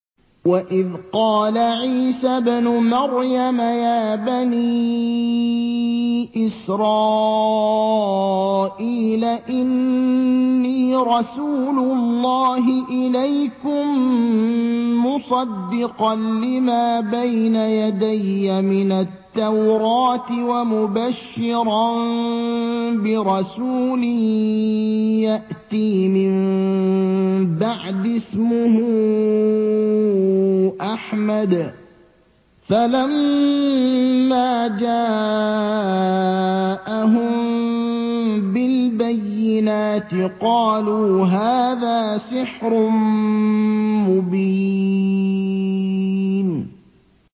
وَإِذْ قَالَ عِيسَى ابْنُ مَرْيَمَ يَا بَنِي إِسْرَائِيلَ إِنِّي رَسُولُ اللَّهِ إِلَيْكُم مُّصَدِّقًا لِّمَا بَيْنَ يَدَيَّ مِنَ التَّوْرَاةِ وَمُبَشِّرًا بِرَسُولٍ يَأْتِي مِن بَعْدِي اسْمُهُ أَحْمَدُ ۖ فَلَمَّا جَاءَهُم بِالْبَيِّنَاتِ قَالُوا هَٰذَا سِحْرٌ مُّبِينٌ